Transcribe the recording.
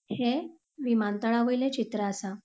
ह्ये विमानतळावयले चित्र आसा.